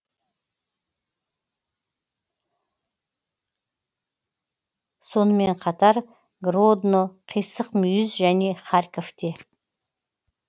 сонымен қатар гродно қисық мүйіз және харьковте